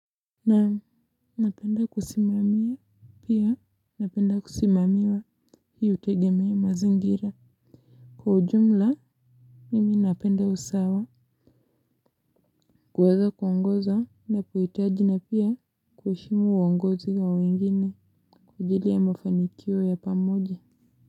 Naam, napenda kusimamia pia napenda kusimamiwa hii hutegemea mazingira, kwa ujumla nimi napenda usawa kuweza kuongoza ninapuhitaji na pia kuheshimu uongozi wa wengine kwa ajili ya mafanikio ya pamoja.